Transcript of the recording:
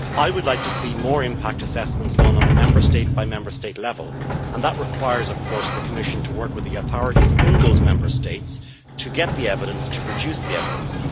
I would like to see more impact assessments done on a Member State by Member State level and that requires, of course, the Commission to work with the authorities in those Member States to produce the evidence.